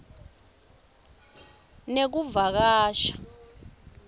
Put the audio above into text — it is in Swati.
nekuvakasha